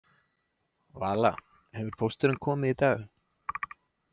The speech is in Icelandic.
Vala, hefur pósturinn komið í dag?